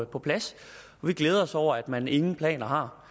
på plads vi glæder os over at man ingen planer har